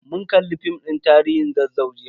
Mun kalli film din tarihin Zazzau jiya.